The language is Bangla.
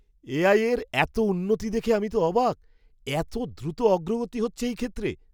এআই এর এত উন্নতি দেখে আমি তো অবাক! এত দ্রুত অগ্রগতি হচ্ছে এই ক্ষেত্রে!